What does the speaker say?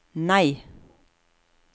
nei